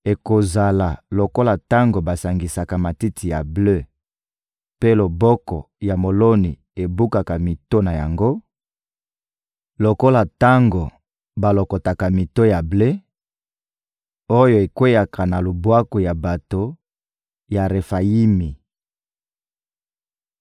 Ekozala lokola tango basangisaka matiti ya ble mpe loboko ya moloni ebukaka mito na yango, lokola tango balokotaka mito ya ble oyo ekweyaka na lubwaku ya bato ya Refayimi.